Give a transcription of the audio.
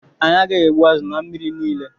Anyị agaghị egbu azụ na mmiri niile.